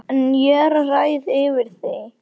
En ég ræð yfir því.